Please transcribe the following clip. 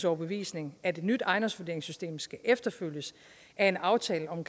overbevisning at et nyt ejendomsvurderingssystem skal efterfølges af en aftale om